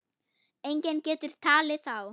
Enginn getur talið þá.